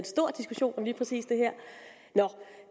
stor diskussion om lige præcis det her